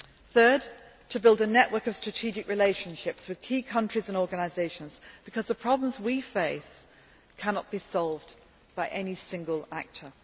Thirdly, to build a network of strategic relationships with key countries and organisations because the problems we face cannot be solved by any single actor.